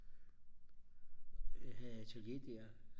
havde atelier der